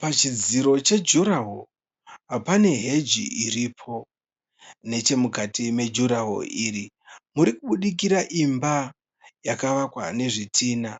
Pachidziro che jurawo pane heji iripo. Nechemukati mejurawo iyi murikubudirika imba yakavakwa nezvidhinha.